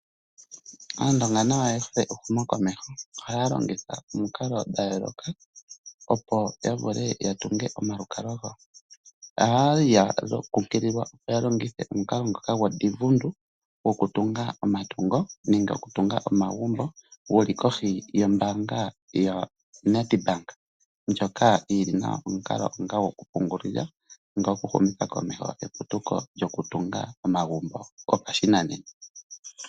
Aandonga nayo oye hole ehumokomeho. Ohaya longitha omukalo dha yooloka opo ya vule ya tunge omalukalwa gawo. Oya kumagidhwa, opo ya longithe omukalo ngoka goDivundu gokutunga omagumbo nenge omatungo, gu li kohi yombaanga yoNedbank. Ndjoka yi li nawa onga omukalo gokupungulila nenge gokuhumitha komeho eputuko lyokutunga omagumbo gopashinanena.